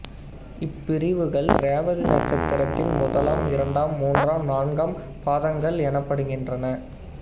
இப்பிரிவுகள் ரேவதி நட்சத்திரத்தின் முதலாம் இரண்டாம் மூன்றாம் நான்காம் பாதங்கள் எனப்படுகின்றன